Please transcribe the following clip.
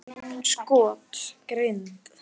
Skot: Grind.